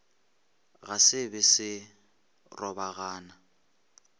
ge se be se robagana